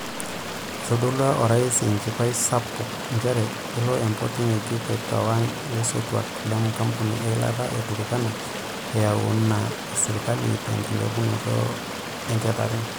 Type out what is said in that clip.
Itodolua Orais enchipai sapuk njere elo empoti ngejuk aitawang ilaisotuak le nkampuni eilata e Turkana eyieuna esirikali te nkilepunoto enchetare .